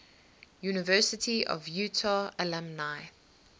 university of utah alumni